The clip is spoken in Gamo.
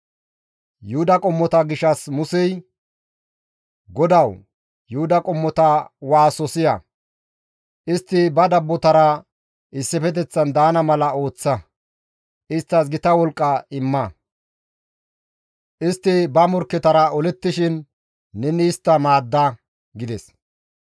Yuhuda qommota gishshas Musey, «GODAWU, Yuhuda qommota waaso siya; istti ba dabbotara issifeteththan daana mala ooththa; isttas gita wolqqa imma; istti ba morkketara olettishin neni istta maadda» gides.